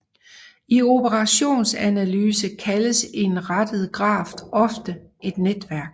I operationsanalyse kaldes en rettet graf ofte et netværk